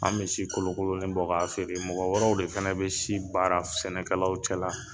An bɛ si kolo kolonin bɔ k'a feere mɔgɔ wɛrɛw de fana bɛ si baara sɛnɛkalaw cɛ la.